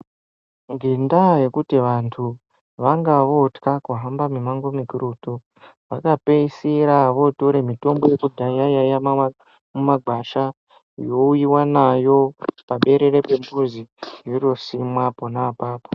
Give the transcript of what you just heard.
Ngenda yekuti vantu vanga votka kuhambe mimango mikurutu vakapedzisira votora mitombo yekudhaya iya yaiva mumagwasha youyiwa nayo paberere pomuzi yotosimwa ipapo.